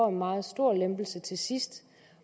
en meget stor lempelse til sidst det